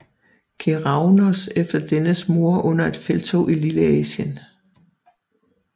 Keraunos efter dennes mord under et felttog i Lilleasien